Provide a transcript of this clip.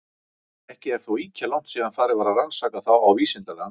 Ekki er þó ýkja langt síðan farið var að rannsaka þá á vísindalegan hátt.